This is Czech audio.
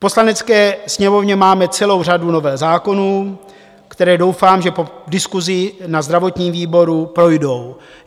V Poslanecké sněmovně máme celou řadu novel zákonů, které doufám, že po diskusi na zdravotním výboru projdou.